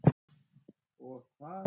Og hvað?